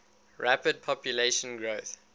rapid population growth